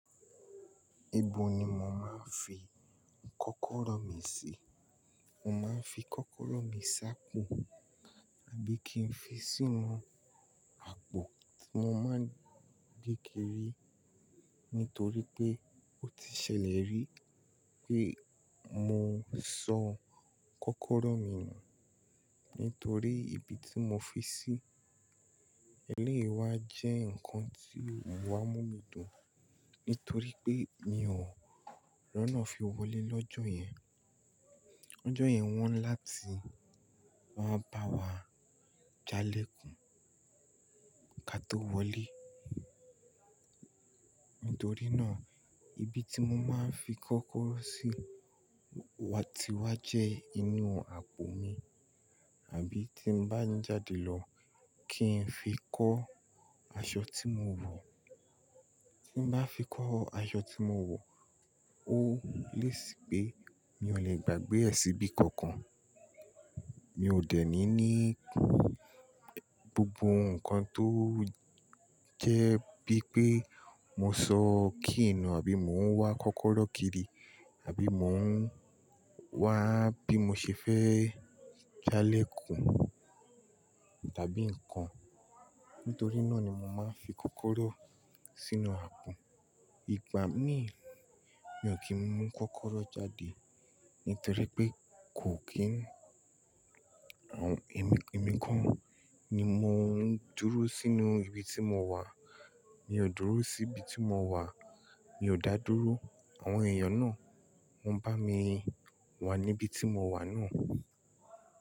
Ibo ni mo màá fi kọ́kọ́rọ́ mi sí? Mo máa ń fi kọ́kọ́rọ́ mi sá pọ̀ tàbí kí n fi sínú àpò tí mo máa ń di kiri nítorí pé ó ti ṣẹlẹ̀ rí pé mo sọ kọ́kọ́rọ́ mi nù nítorí ibi tí mo fi sí eléyi wá jẹ́ nǹkan tí ó wá mú nu mi dùn, nítorí pé mi ò roná fi wọlé lọ́jọ́ yẹn. Ọjọ́ yẹn wọ́n ni láti máa bá wa jalè kùn ká tó wọlé. Nítorí náà, ibi tí mo máa ń fi kọ́kọ́rọ́ sí wa ti wá jẹ inú àpò mi, àbí tí n bá ń jáde lọ kí n fi kó aṣọ tí mo wọ̀. Tí n bá fi kó aṣọ tí mo wọ̀ ó lé sí pé mi ò lè gbàgbé ẹ̀ síbi kankan. Mi ò dẹ́ni ní gbogbo nǹkan tó jẹ́ bí pé mo sọ key nú àbí mò ń wá kọ́kọ́rọ́ kiri àbí mò ń wá bí mo ṣe fẹ́ jalè kùn tàbí nǹkan. Nítorí náà ni mo máa ń fi kọ́kọ́rọ́ sínú àpò. Ìgbà míì mi ò kí ń mú kọ́kọ́rọ́ jáde nítorí pé kò kí ń. Èmi, èmi kan ni mo ń dúró sínú ibi tí mo wà. Mi ò dúró sí ibi tí mo wà, mi ò dá dúró. Àwọn èèyàn náà wọ́n bá mi wà níbi tí mo wà náà.